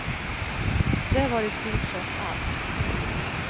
Det var i stort sett allt.